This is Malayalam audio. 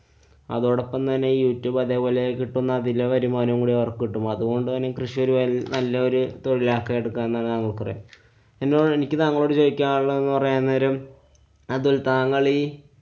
അതോടൊപ്പം തന്നെ youtube അതേപോലെ കിട്ടുന്ന അതിലെ വരുമാനം കൂടി അവര്‍ക്ക് കിട്ടും. അതുകൊണ്ട് തന്നെ ഈ കൃഷി ഒരു വ~ നല്ലൊരു തൊഴില്‍ ആക്കി എടുക്കാം പറയും. എന്നുപറഞ്ഞാ എനിക്ക് താങ്കളോട് ചോദിക്കാനുള്ളതെന്നു പറയാന്‍ നേരം അതില്‍ താങ്കളീ